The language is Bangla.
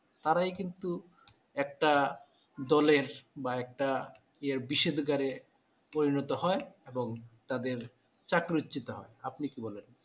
তারাই কিন্তু একটা দলের বা একটা বিষেদগারে এ পরিণত হয় এবং তাদের চাকরীচ্যুত হয়। আপনি কি বলেন?